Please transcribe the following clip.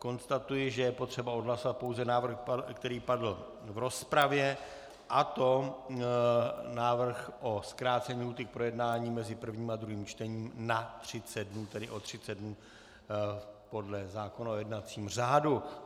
Konstatuji, že je potřeba odhlasovat pouze návrh, který padl v rozpravě, a to návrh na zkrácení lhůty k projednání mezi prvním a druhým čtením na 30 dnů, tedy o 30 dnů podle zákona o jednacím řádu.